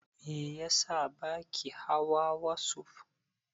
Meyasa baki hawa wasuf?